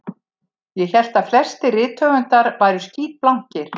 Ég hélt að flestir rithöfundar væru skítblankir